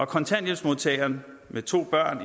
kontanthjælpsmodtageren med to børn